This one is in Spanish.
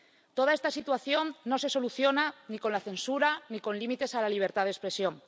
Toda esta situación no se soluciona ni con la censura, ni con límites a la libertad de expresión.